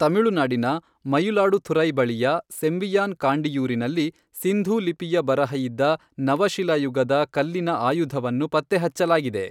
ತಮಿಳುನಾಡಿನ ಮಯಿಲಾಡುಥುರೈ ಬಳಿಯ ಸೆಂಬಿಯಾನ್ ಕಾಂಡಿಯೂರಿನಲ್ಲಿ ಸಿಂಧೂ ಲಿಪಿಯ ಬರಹ ಇದ್ದ ನವಶಿಲಾಯುಗದ ಕಲ್ಲಿನ ಆಯುಧವನ್ನು ಪತ್ತೆಹಚ್ಚಲಾಗಿದೆ.